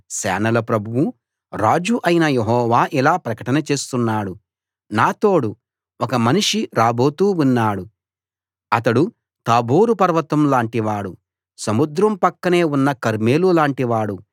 సేనల ప్రభువూ రాజూ అయిన యెహోవా ఇలా ప్రకటన చేస్తున్నాడు నా తోడు ఒక మనిషి రాబోతూ ఉన్నాడు అతడు తాబోరు పర్వతం లాంటి వాడు సముద్రం పక్కనే ఉన్న కర్మెలు లాంటి వాడు